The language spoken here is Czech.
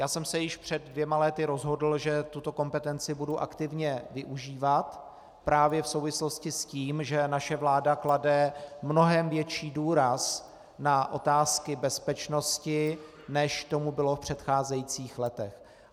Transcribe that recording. Já jsem se již před dvěma lety rozhodl, že tuto kompetenci budu aktivně využívat právě v souvislosti s tím, že naše vláda klade mnohem větší důraz na otázky bezpečnosti, než tomu bylo v předcházejících letech.